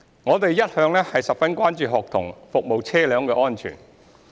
我們一向十分關注學生服務車輛的安全。